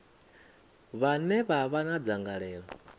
vhane vha vha na dzangalelo